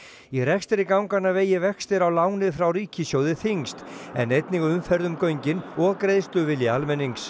í rekstri ganganna vegi vextir á láni frá ríkissjóði þyngst en einnig umferð um göngin og greiðsluvilji